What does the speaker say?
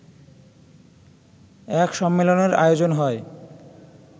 এক সম্মেলনের আয়োজন হয়